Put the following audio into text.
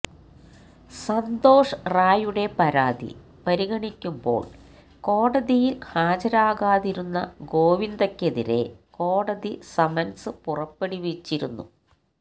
സന്തോഷ് റായുടെ പരാതി പരിഗണിക്കുമ്പോള് കോടതിയില് ഹാജരാകാതിരുന്ന ഗോവിന്ദയ്ക്കെതിരെ കോടതി സമന്സ് പുറപ്പെടുവിച്ചിരുന്നു